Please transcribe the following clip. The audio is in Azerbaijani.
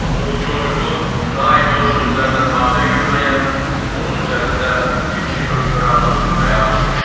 O bu çocuqu daima öz sözlərinə tabe görməyə, onun üzərində fikri hökmranlıq sürməyə alışmışdı.